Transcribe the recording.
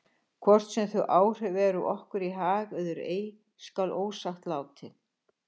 Hvort sem þau áhrif eru okkur í hag eða ei skal ósagt látið.